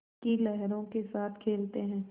की लहरों के साथ खेलते हैं